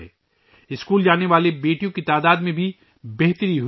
school جانے والی بیٹیوں کی تعداد میں بھی بہتری آئی ہے